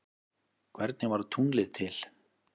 Hvernig varð tunglið til?